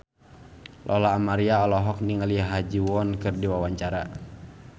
Lola Amaria olohok ningali Ha Ji Won keur diwawancara